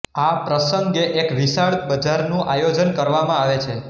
આ પ્રસંગે એક વિશાળ બજાર નું આયોજન કરવામાં આવે છે